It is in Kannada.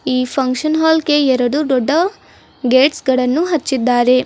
ಈ ಫಂಕ್ಷನ್ ಹಾಲ್ಗೆ ಎರಡು ದೊಡ್ಡ ಗೇಟ್ಸ್ಗಳನ್ನು ಹಚ್ಚಿದ್ದಾರೆ.